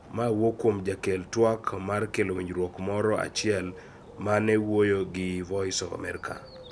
Mae wuok kuom jakel tuak mar kelo winjruok moro achiel ma ne owuoyo gi Voice of America